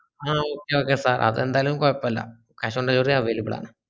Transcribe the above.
ആഹ് okay okay അത് ന്റാലു കൊയ്‌പോല cash on delivery available ആണ്